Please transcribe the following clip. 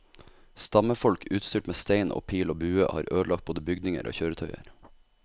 Stammefolk utstyrt med stein og pil og bue har ødelagt både bygninger og kjøretøyer.